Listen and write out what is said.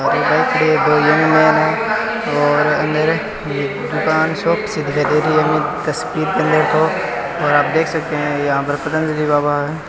और मेरे दुकान शॉप से दिखाई दे रही है और आप देख सकते है यहाँ पर पतंजलि बाबा है।